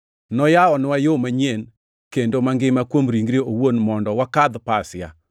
noyawonwa yo manyien kendo mangima kuom ringre owuon mondo wakadh pasia.